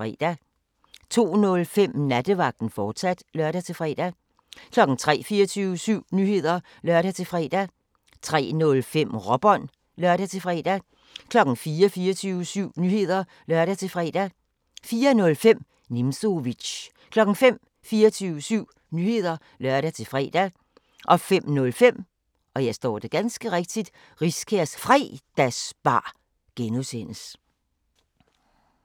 02:05: Nattevagten, fortsat (lør-fre) 03:00: 24syv Nyheder (lør-fre) 03:05: Råbånd (lør-fre) 04:00: 24syv Nyheder (lør-fre) 04:05: Nimzowitsch 05:00: 24syv Nyheder (lør-fre) 05:05: Riskærs Fredagsbar (G)